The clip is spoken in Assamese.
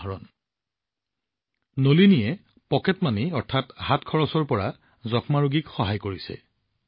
কন্যা নলিনীয়ে নিজৰ টকাৰে যক্ষ্মা ৰোগীক সহায় কৰিছে